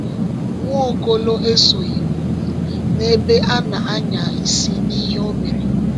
Nwaokolo esoghị um n’ebe a na-anya isi n’ihe o mere.